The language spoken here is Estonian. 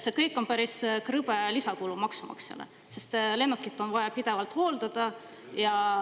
See kõik on päris krõbe lisakulu maksumaksjale, sest lennukit on vaja pidevalt hooldada.